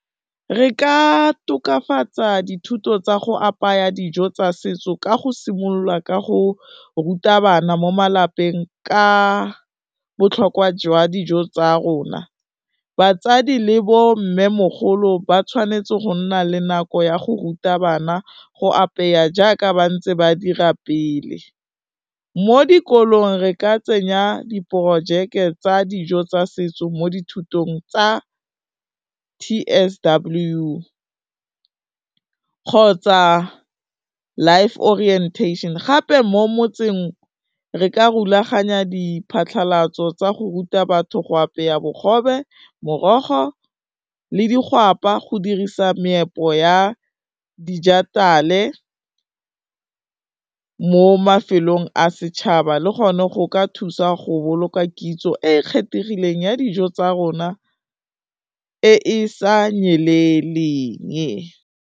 Re ka tokafatsa dithuto tsa go apaya dijo tsa setso ka go simolola ka go ruta bana mo malapeng ka botlhokwa jwa dijo tsa rona, batsadi le bo mmemogolo ba tshwanetse go nna le nako ya go ruta bana go apeya jaaka ba ntse ba dira pele, mo dikolong re ka tsenya diporojeke tsa dijo tsa setso mo dithutong tsa T_S_W kgotsa Life Orientation, gape mo motseng re ka rulaganya diphatlalatso tsa go ruta batho go apeya bogobe, morogo le digwapa go dirisa meepo ya dijithale mo mafelong a setšhaba le gone go ka thusa go boloka kitso e e kgethegileng ya dijo tsa rona e e sa nyeleleng.